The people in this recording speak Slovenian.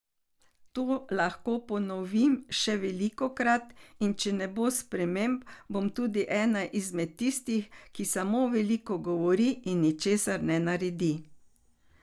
To lahko ponovim še velikokrat in če ne bo sprememb, bom tudi ena izmed tistih, ki samo veliko govori in ničesar ne naredi.